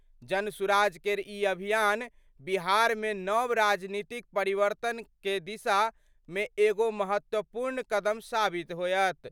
जनसुराज केर ई अभियान बिहार मे नव राजनीतिक परिवर्तन कए दिशा मे एगो महत्वपूर्ण कदम साबित होयत।